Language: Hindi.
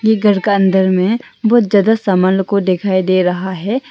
ये घर का अंदर में बहुत ज्यादा सामान लोग को दिखाई दे रहा है।